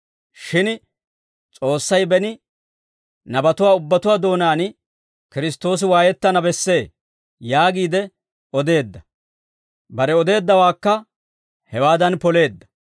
Shin S'oossay beni, nabatuwaa ubbatuwaa doonaan, ‹Kiristtoosi waayettana bessee› yaagiide odeedda; bare odeeddawaakka hewaadan poleedda.